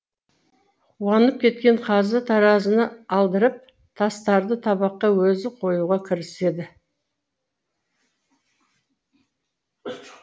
қуанып кеткен қазы таразыны алдырып тастарды табаққа өзі қоюға кіріседі